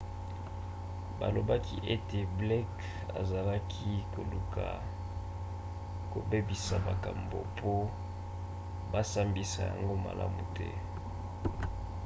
balobaki ete blake azalaki koluka kobebisa makambo po basambisa yango malamu te